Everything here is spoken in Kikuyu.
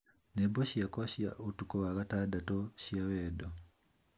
Nyĩmbo ciakwa cia ũtukũ wa gatandatũ cia wendo